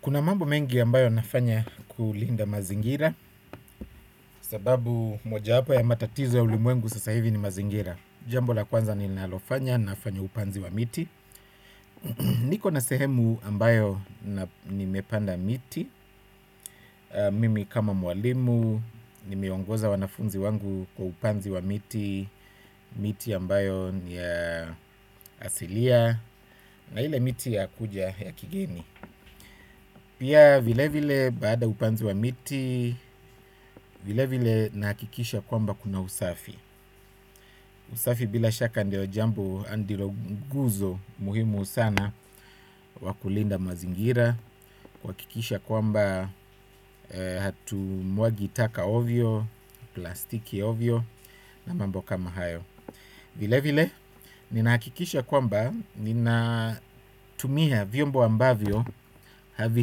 Kuna mambo mengi ambayo nafanya kulinda mazingira sababu moja yapo ya matatizo ya ulimwengu sasa hivi ni mazingira jambo la kwanza ninalofanya nafanya upanzi wa miti niko na sehemu ambayo na nimepanda miti mimi kama mwalimu, nimeongoza wanafunzi wangu kwa upanzi wa miti miti ambayo ni ya asilia na ile miti ya kuja ya kigeni pia vile vile baada ya upanzi wa miti vile vile nahakikisha kwamba kuna usafi usafi bila shaka ndio jambo andiro nguzo muhimu sana wakulinda mazingira kuhakikisha kwamba hatu mwagi taka ovyo plastiki ovyo na mambo kama hayo vile vile ninakikisha kwamba ninatumia vyombo ambavyo havi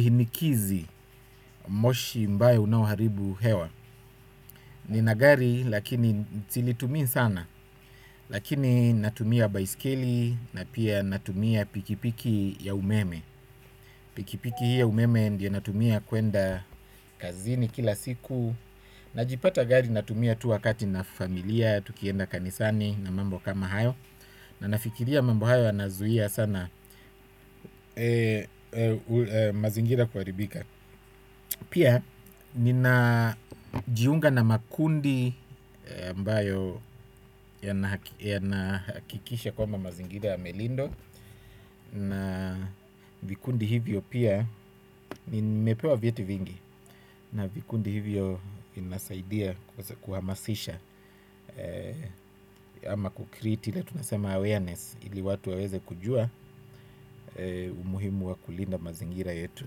hinikizi moshi ambao unaoharibu hewa nina gari lakini silitumii sana lakini natumia baiskeli na pia natumia pikipiki ya umeme pikipiki hii ya umeme ndio natumia kuenda kazini kila siku. Najipata gari natumia tu wakati na familia. Tukienda kanisani na mambo kama hayo na nafikiria mambo hayo yanazuia sana mazingira kuharibika pia ninajiunga na makundi ambayo yanahakikisha kua mazingira yamelindwa nimepewa vyeti vingi na vikundi hivyo vinasaidia kuhamasisha ama kukriti la tunasema awareness ili watu waweze kujua umuhimu wa kulinda mazingira yetu.